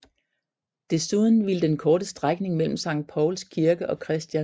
Desuden ville den korte strækning mellem Sankt Pauls Kirke og Chr